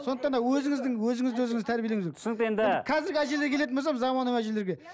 сондықтан да өзіңіздің өзіңізді өзіңіз тәрбиелеңіз түсінікті енді қазіргі әжелерге келеті болсақ заманауи әжелерге